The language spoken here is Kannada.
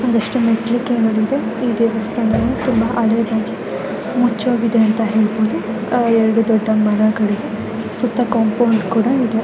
ಒಂದಷ್ಟು ಮೆಟ್ಟಿಲು ಕೆಳ್ಗಿವೆ ದೇವಸ್ಥಾನವು ಹಳೇದಾಗಿದೆ ಮುಚ್ಚೋಗಿದೆ ಅಂತ ಹೇಳಬಹುದು ಎರಡು ದೊಡ್ಡ ಮರಗಳಿವೆ ಸುತ್ತ ಕಾಂಪೌಂಡ್ ಕೂಡ ಇದೆ.